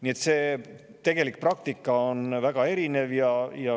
Nii et see tegelik praktika on väga erinev.